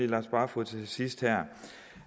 lars barfoed til sidst det